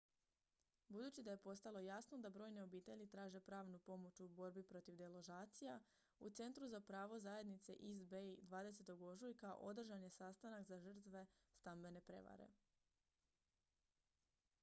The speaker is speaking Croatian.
budući da je postalo jasno da brojne obitelji traže pravnu pomoć u borbi protiv deložacija u centru za pravo zajednice east bay 20. ožujka održan je sastanak za žrtve stambene prevare